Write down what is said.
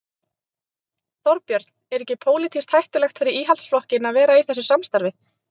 Hversu sterkt er það fyrir Fylki að fá svona leikmann inn?